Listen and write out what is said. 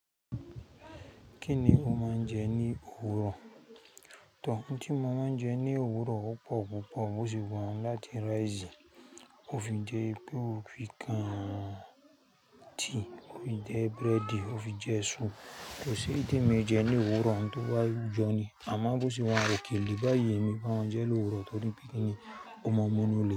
Kíni o máa ń jẹ ní òwúrọ̀? Tọ, ohun tí mo máa ń jẹ ní òwúrọ̀ o pọ̀ púpọ̀. Mo sì wọ̀n láti rice, o fi jẹ wípé ọ fi kan tea, o fi jẹ búrẹ́dì, o fi jẹ sùu. Kò sí èyí te mi ijẹ ní òwúrọ̀ oun tó bá jọni. Àmọ́ bó ṣe wọ̀n òkèlè báyìí èmi báa ń jẹ lówúrọ̀ torí bí kí ni, ọmọ mu nunlè.